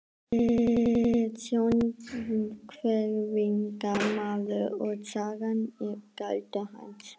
Hann er sjónhverfingamaður og sagan er galdur hans.